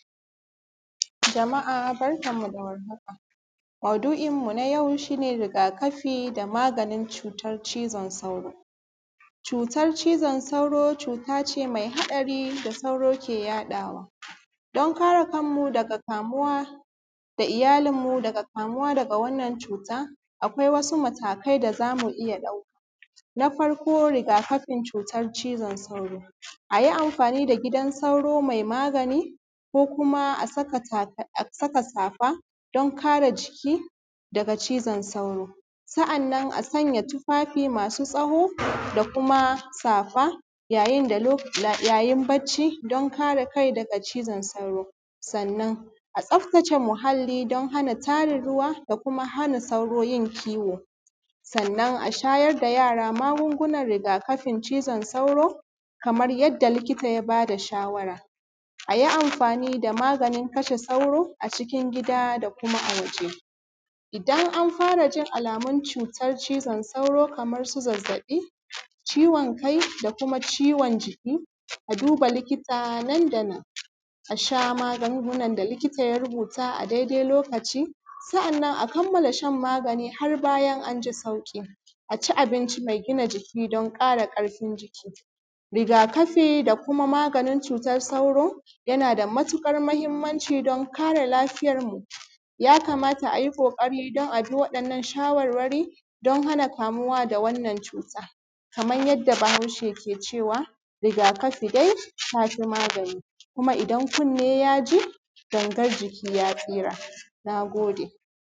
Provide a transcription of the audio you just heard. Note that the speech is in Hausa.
Jama’a barkanmu da warhaka maudu’imu nayau shi ne rigakafi na cutan cizon sauro, cutan cizon sauro cuta ce me haɗari wanda sauro yake yaɗawa, don kare kanmu da iyalinmu daga kamuwa daga wannan cuta akwai wasu matakai da za mu iya ɗauka. Na farko gida kafin cutan cizon sauro a yi anfani da gidan sauro me magani ko kuma a saka safa don kare jiki daga kamuwa da zazzaɓin cizon sauro, sa’annan a sanya tufafi masu tsawo da kuma safa yayin bacci don kare kai daga cizon sauro. Sannan a tsaftace muhallin don hana tarin ruwa da kuma hana sauro yin kiwo, sannan a shayar da yara magungunan rigakafin cizon sauro kaman yanda likita ya ba da shawara a yi anfani da maganin. Kasha sauro cikin gida da kuma a waje idan an fara jin alamun cutan cizon sauro ko zazzaɓi, ciwon kai da kuma ciwon jiki, a duba likita nandanan. A sha magungunan da likita ya rubuta a lokaci, sa’annan a kammala shan magani har sai bayan an ji sauƙi, a ci abinci me gina jiki don ƙara ƙarfin jiki. Rigakafi da kuma maganin cutan cizon sauro, yana da matuƙar mahimmanci don kare lafiyarmu ya kamata a yi ƙoƙari don a bi wayannan shawarwari don hana kamuwa da wannan cuta kaman yanda Bahaushe ke cewa rigakafi dai tafi magani, idan kunni ya ji gangan jiki ya tsira. Na gode.